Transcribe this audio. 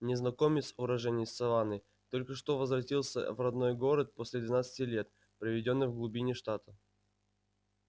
незнакомец уроженец саванны только что возвратился в родной город после двенадцати лет проведённых в глубине штата